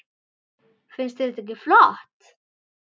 Finnst þér þetta ekki flott?